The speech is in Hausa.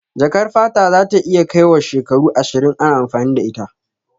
Jakar fata za ta iya kai wa shekaru ashirin ana amfani da ita